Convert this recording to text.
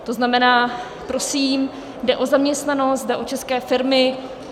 To znamená, prosím, jde o zaměstnanost, jde o české firmy.